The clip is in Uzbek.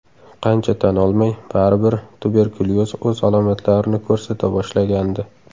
Qancha tan olmay, baribir tuberkulyoz o‘z alomatlarini ko‘rsata boshlagandi.